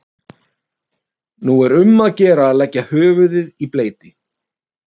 Nú er um að gera að leggja höfuðið í bleyti.